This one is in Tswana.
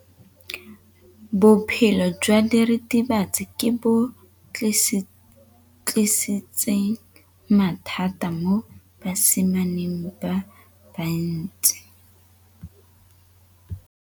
Botshelo jwa diritibatsi ke bo tlisitse mathata mo basimaneng ba bantsi.